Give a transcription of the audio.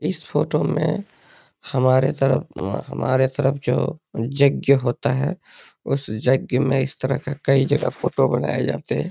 इस फोटो में हमारे तरफ हमारे तरफ जो यज्ञ होता है उस यज्ञ में इस तरह के कई जगह फोटो बनाये जाते हैं।